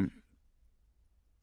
Samme programflade som øvrige dage